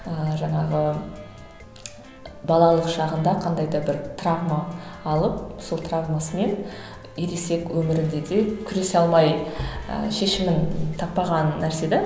ыыы жаңағы балалық шағында қандай да бір травма алып сол травмасымен ересек өмірінде де күресе алмай ы шешімін таппаған нәрсе де